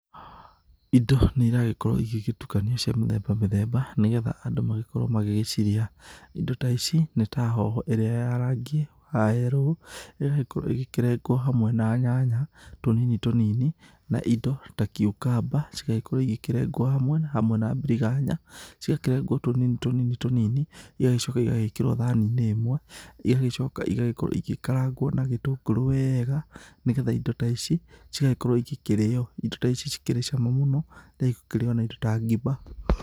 Indo nĩ iragĩkorwo igĩgĩtukanio cia mĩthemba mĩthemba nĩ getha andũ magĩkorwo magĩgĩcirĩa. Indo ta ici nĩ ta hoho ĩrĩa ya rangi wa yellow iria ĩngĩkorwo ĩkĩrengwo hamwe na nyanya tũnini tũnini na indo ta cucumber cigagĩkorwo igĩkĩrengwo hamwe hamwe na biriganya cigakĩrengwo tũnini tũnini igagĩcoka igagĩkĩrwo thaani-inĩ ĩmwe. Igagĩcoka igagĩkorwo igĩkaragwo na gĩtũngũru wega nĩ getha indo ta ici cigagĩkorwo igĩkĩrĩo. Indo ta ici cikĩrĩ cama mũno na igakĩrĩo na indo ta ngima.